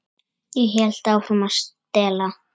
Ég hélt áfram að stela.